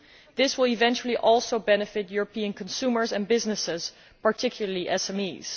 This will eventually also benefit European consumers and businesses, particularly SMEs.